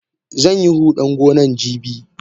Zanyi hudan gonan jibi.